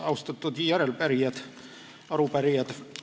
Austatud teised järelepärijad, arupärijad!